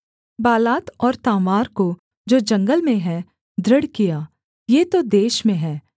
Baalath और Tamar को जो जंगल में हैं दृढ़ किया ये तो देश में हैं